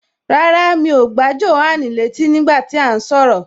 Rárá, mi ò gbà Jòhánù létí nígbà tí à ń sọ̀rọ̀